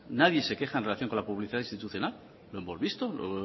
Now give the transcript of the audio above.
nadie se queja en relación con la publicidad institucional lo hemos visto lo